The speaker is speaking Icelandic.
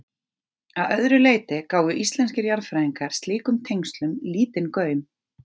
Að öðru leyti gáfu íslenskir jarðfræðingar slíkum tengslum lítinn gaum.